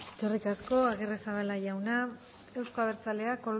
eskerrik asko agirrezabala jauna euzko abertzaleak